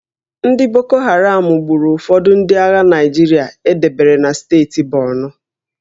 Ndị Boko Haram gburu ụfọdụ ndị agha Naịjirịa e debere na steeti Borno